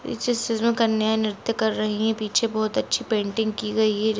इस चित्र में कन्या निर्त्य कर रही है पीछे बहुत अच्छी पेंटिंग की गई है।